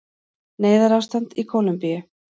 Neyðarástand í Kólumbíu